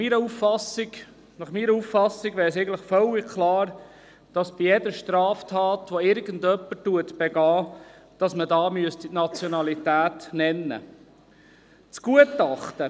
Meiner Auffassung nach ist es völlig klar, dass bei jeder Straftat, die begangen wird, die Nationalität genannt werden muss.